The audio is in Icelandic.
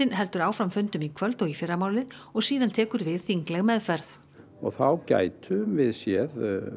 heldur áfram fundum í kvöld og í fyrramálið og síðan tekur við þingleg meðferð og þá gætum við séð